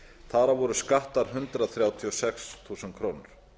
þar af voru skattar hundrað þrjátíu og sex þúsund krónur